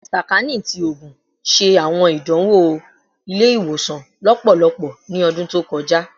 Sakaani ti Oogun ṣe awọn idanwo ile-iwosan lọpọlọpọ ni ọdun to kọja